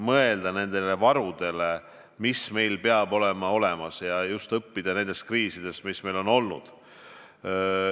Tõesti tuleb mõelda varudele, mis meil peavad olemas olema, ja õppida kriisidest, mis meil on olnud.